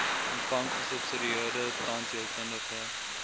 ontvang gesubsidieerde tandheelkundige